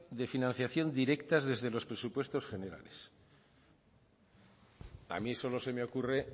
de financiación directas desde los presupuestos generales a mí solo se me ocurre